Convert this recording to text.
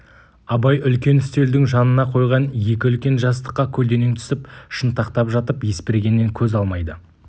абай үлкен үстелдің жанына қойған екі үлкен жастыққа көлденең түсіп шынтақтап жатып есбергеннен көз алмайды